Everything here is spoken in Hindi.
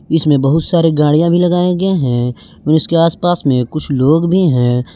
इसमें बहुत सारी गाड़ियां भी लगाए गए हैं और उसके आसपास में कुछ लोग भी हैं।